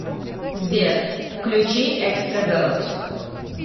сбер включи экстравелт